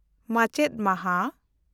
ᱢᱟᱪᱮᱛ ᱢᱟᱦᱟ